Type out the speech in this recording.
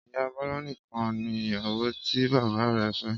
ìyá Bola nìkan ni ìyàwó tí bàbá rè fé.